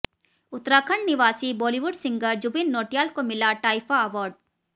उत्तराखंड निवासी बॉलीवुड सिंगर जुबिन नौटियाल को मिला टाइफा अवार्ड